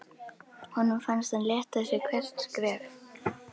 Honum fannst hann léttast við hvert skref.